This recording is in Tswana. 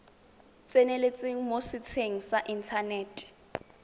tseneletseng mo setsheng sa inthanete